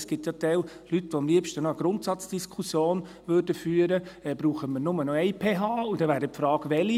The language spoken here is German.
Es gibt ja gewisse Leute, die am liebsten noch eine Grundsatzdiskussion führen würden, ob man nur noch eine PH braucht, und dann wäre die Frage: Welche?